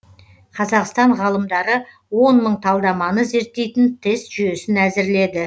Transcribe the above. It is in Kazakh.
қазақстан ғалымдары он мың талдаманы зерттейтін тест жүйесін әзірледі